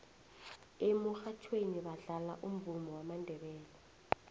emurhatjhweni badlala umvumo wamandebele